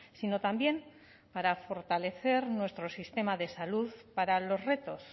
sino también para fortalecer nuestro sistema de salud para los retos